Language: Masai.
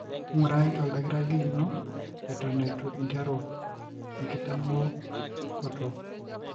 ingurai oldakitari lino eton etu interu enkitamokoto,